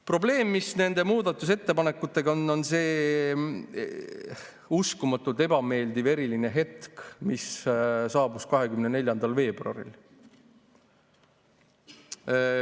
Probleem, mis nende muudatusettepanekutega on, on see uskumatult ebameeldiv eriline hetk, mis saabus 24. veebruaril.